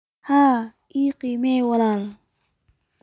Ha i khiyaamin wiil